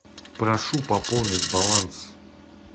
прошу пополнить баланс